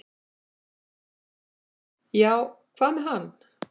"""Já, hvað með hann?"""